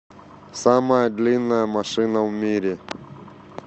самая длинная машина в мире